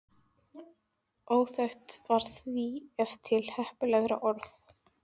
Óþekkt var því ef til heppilegra orð.